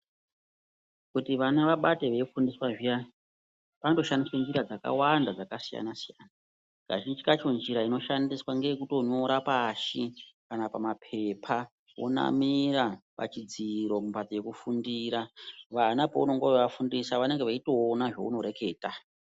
Kuti vana vabate veifundiswa zviyani panoshandiswa njira dzakawanda dzakasiyana siyana. Kazhinji kacho njira inoshandiswa ngeye kunyora pashi kana pamapepa vonamira pachidziro kana pekufundira vana paunenge weivafundisa vanenge veitoona zvaunoreketa.